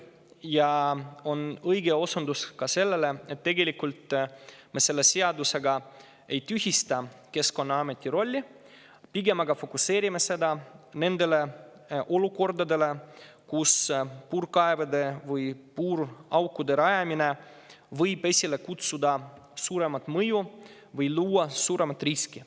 Ja õige on ka osundus, et selle seadusega me mitte ei tühista Keskkonnaameti rolli, vaid pigem seame fookuse nendele olukordadele, kus puurkaevude või puuraukude rajamine võib esile kutsuda suurema mõju või luua suurema riski.